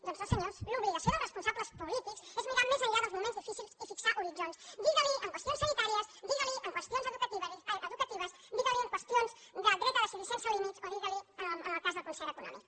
doncs no senyors l’obligació dels responsables polítics és mirar més enllà dels moments difícils i fixar horitzons digues li en qüestions sanitàries digues li en qüestions educatives digues li en qüestions del dret a decidir sense límits o digues li en el cas del concert econòmic